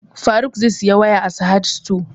Faruk zai saya waya a sahad stores